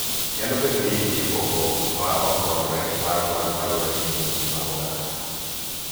Nyalo bedo ni nitie pogruok ma ok romre mar mwandu kaluwore gi dhoudi mag oganda.